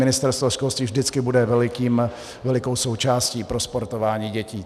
Ministerstvo školství vždycky bude velikou součástí pro sportování dětí.